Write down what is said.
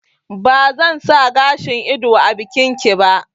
Ba zan sa gashin ido a bikin ki ba